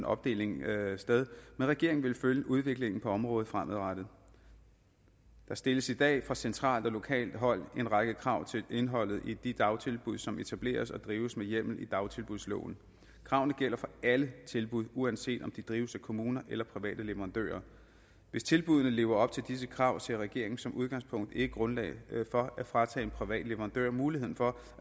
opdeling sted men regeringen vil følge udviklingen på området fremadrettet der stilles i dag fra centralt og lokalt hold en række krav til indholdet i de dagtilbud som etableres og drives med hjemmel i dagtilbudsloven kravene gælder for alle tilbud uanset om de drives af kommuner eller private leverandører hvis tilbuddene lever op til disse krav ser regeringen som udgangspunkt ikke grundlag for at fratage en privat leverandør muligheden for